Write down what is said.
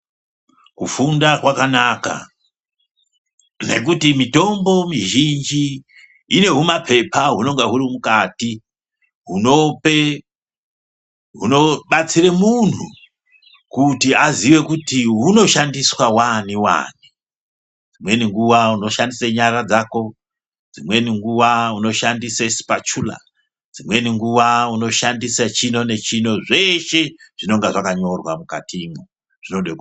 Kufunda kwakanaka nekuti mutombo mizhinji ine humapepa hunenga huri mukati hunope hunobatsire munhu kuti aziye kuti hunoshandiswe wani wani. Dzimweni nguwa unoshandisa nyara dzako, dzimweni nguwa unoshandise sipachula. Dzimweni nguwa unoshandisa chino nechino zveshe zvinonga zvakanyorwa mwukatimwo, zvinode ku....